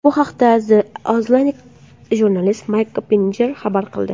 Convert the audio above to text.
Bu haqda The Athletic jurnalisti Mayk Koppinjer xabar qildi .